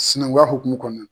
Sinɛnguya hukumu kɔnɔ